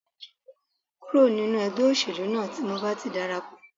Kúrò nínú ẹgbẹ́ òṣèlú náà tí mo bá ti dara pọ̀